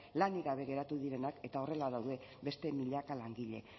lanik gabe geratu direnak eta horrela daude beste milaka langile